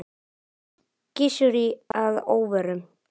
Gissuri að óvörum.